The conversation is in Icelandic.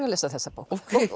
að lesa þessa bók